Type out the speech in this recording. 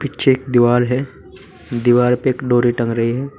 पीछे एक दीवार है दीवार पर एक डोरी टंग रही है।